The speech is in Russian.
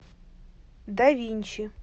да винчи